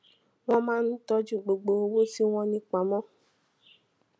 wón máa ń tójú gbogbo owó tí wón ní pamó